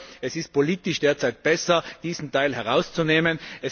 Ich glaube, es ist politisch derzeit besser, diesen Teil herauszunehmen.